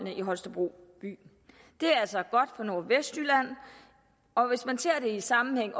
i holstebro by det er altså godt for nordvestjylland og hvis man ser det i sammenhæng